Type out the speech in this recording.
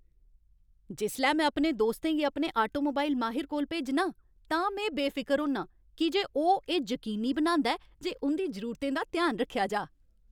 जिसलै में अपने दोस्तें गी अपने ऑटोमोबाइल माहिर कोल भेजना आं तां में बेफिकर होन्नां की जे ओह् एह् जकीनी बनांदा ऐ जे उं'दी जरूरतें दा ध्यान रक्खेआ जाऽ।